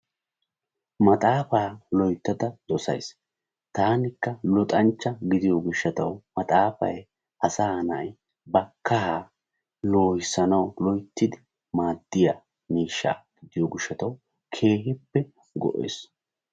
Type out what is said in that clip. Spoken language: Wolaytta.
Maxaafa loyttada dosayssi taanikka luxanchcha gidiyo gishaw maxaafay asay nay ba kaaha lohissinaw loyttidi maaddiya miishsha gidiyo gishshaw keehippe go''ees.